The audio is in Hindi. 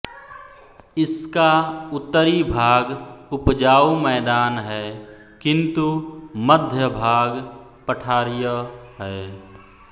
इसका उत्तरी भाग उपजाऊ मैदान है किंतु मध्य भाग पठारीय है